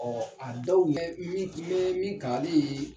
a dɔw ye min n bɛ min kali ye.